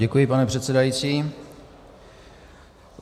Děkuji, pane předsedající.